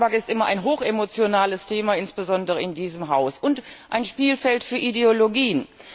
Und ja, Tabak ist immer ein hochemotionales Thema insbesondere in diesem Haus und ein Spielfeld für Ideologien.